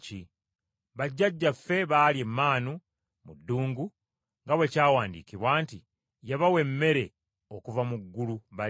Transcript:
Bajjajjaffe baalya emmaanu mu ddungu nga bwe kyawandiikibwa nti, ‘Yabawa emmere okuva mu ggulu balye.’ ”